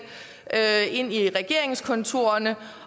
ind i regeringskontorerne